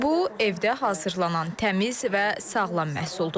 Bu, evdə hazırlanan təmiz və sağlam məhsuldur.